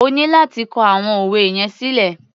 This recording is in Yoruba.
O ní láti kọ àwọn òwe yẹn sílẹ̀.